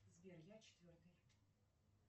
сбер я четвертый